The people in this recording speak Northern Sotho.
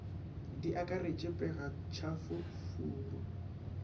di akaretše pega tšhafo furu